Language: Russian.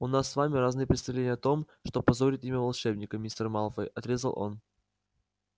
у нас с вами разные представления о том что позорит имя волшебника мистер малфой отрезал он